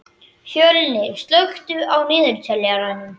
Fjölnir, slökktu á niðurteljaranum.